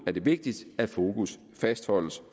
er det vigtigt at fokus fastholdes